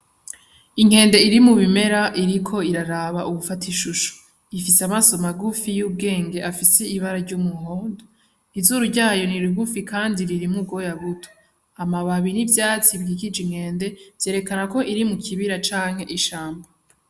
Inkende iri mu bimera iriko iraraba uwufata ishusho, ifise amaso magufi y'ubwenge afise ibara ry'umuhondo, izuru zayo nirigufi kandi ririmwo ubwoya buto, hama amababi y'ivyatsi bikikije inkende vyerekana ko iri mu kibira canke ishamba.